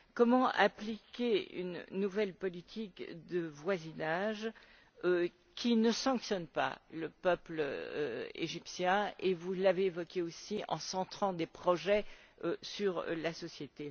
Comment appliquer une nouvelle politique de voisinage qui ne sanctionne pas le peuple égyptien et vous l'avez évoqué aussi qui prévoie des projets centrés sur la société?